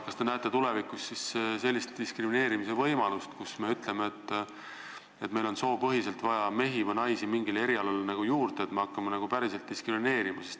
Kas te näete tulevikus sellist diskrimineerimise võimalust, et me ütleme, et meil on vaja mingile erialale juurde mehi või naisi, ning hakkame nagu päriselt diskrimineerima?